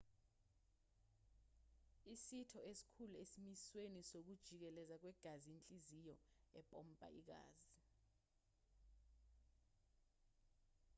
isitho esikhulu esimisweni sokujikeleza kwegazi inhliziyo empompa igazi